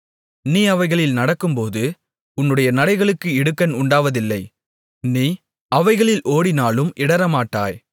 நீ அவைகளில் நடக்கும்போது உன்னுடைய நடைகளுக்கு இடுக்கண் உண்டாவதில்லை நீ அவைகளில் ஓடினாலும் இடறமாட்டாய்